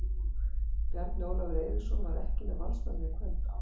Bjarni Ólafur Eiríksson var ekki með Valsmönnum í kvöld, ástæðan?